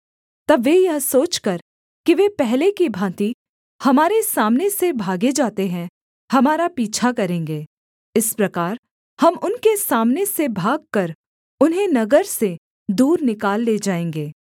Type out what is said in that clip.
तब वे यह सोचकर कि वे पहले की भाँति हमारे सामने से भागे जाते हैं हमारा पीछा करेंगे इस प्रकार हम उनके सामने से भागकर उन्हें नगर से दूर निकाल ले जाएँगे